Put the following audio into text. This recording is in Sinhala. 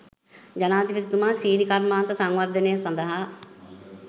ජනාධිපතිතුමා සීනි කර්මාන්ත සංවර්ධනය සඳහා